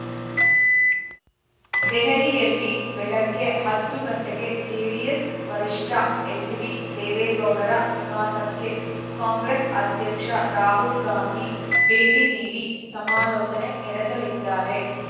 ದೆಹಲಿಯಲ್ಲಿ ಬೆಳಗ್ಗೆ ಹತ್ತು ಗಂಟೆಗೆ ಜೆಡಿಎಸ್‌ ವರಿಷ್ಠ ಎಚ್‌ಡಿದೇವೇಗೌಡರ ನಿವಾಸಕ್ಕೆ ಕಾಂಗ್ರೆಸ್‌ ಅಧ್ಯಕ್ಷ ರಾಹುಲ್‌ ಗಾಂಧಿ ಭೇಟಿ ನೀಡಿ ಸಮಾಲೋಚನೆ ನಡೆಸಲಿದ್ದಾರೆ